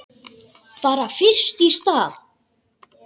Bara fyrst í stað.